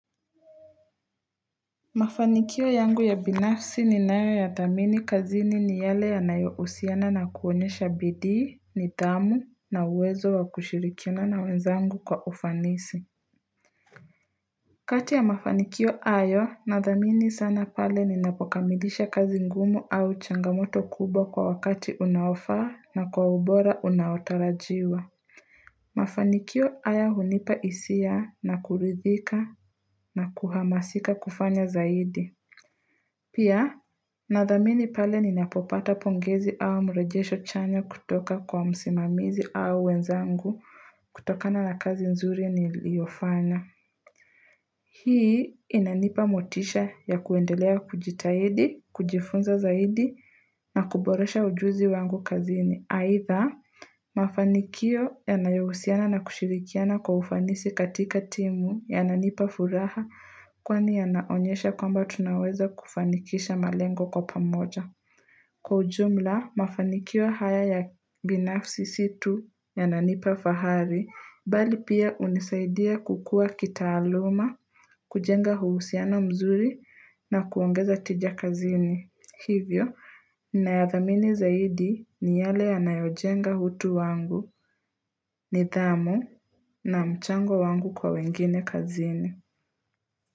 Mafanikio yangu ya binafsi ni nayo ya thamini kazini ni yale yanayo husiana na kuonyesha bidii nidhamu na uwezo wa kushirikina na wenzangu kwa ufanisi kati ya mafanikio hayo nadhamini sana pale ninapokamilisha kazi ngumu au changamoto kubwa kwa wakati unaofaa na kwa ubora unaotarajiwa Mafanikio haya hunipa hisia na kuridhika na kuhamasika kufanya zaidi Pia, nathamini pale ni napopata pongezi au mrejesho chanya kutoka kwa msimamizi au wenzangu kutokana la kazi nzuri niliofanya. Hii inanipa motisha ya kuendelea kujitahidi, kujifunza zaidi na kuboresha ujuzi wangu kazini. Aidha, mafanikio yanayohusiana na kushirikiana kwa ufanisi katika timu yananipa furaha kwani yanaonyesha kwamba tunaweza kufanikisha malengo kwa pamoja. Kwa ujumla, mafanikio haya ya binafsi situ yananipa fahari bali pia unisaidia kukua kitaaluma, kujenga huusiano mzuri na kuongeza tija kazini. Hivyo, na ya thamini zaidi ni yale ya nayojenga hutu wangu ni thamu na mchango wangu kwa wengine kazini.